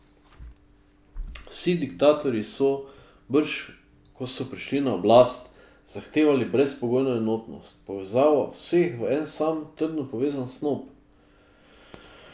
Vsi diktatorji so, brž ko so prišli na oblast, zahtevali brezpogojno enotnost, povezavo vseh v en sam trdno povezan snop.